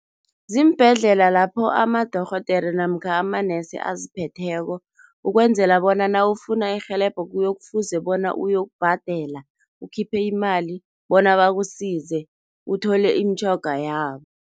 Ziimbhedlela lapho amadorhodere namkha amanesi aziphetheko, ukwenzela bona nawufuna irhelebho kuyokufuze bona uyokubhadela, ukhiphe imali bona bakusize, uthole imitjhoga yabo.